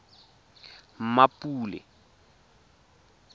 mmapule